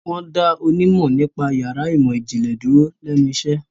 Wọ́n dá onímọ̀ nípa yàrá ìmọ̀-ìjìnlẹ̀ dúró lẹ́nu iṣẹ́.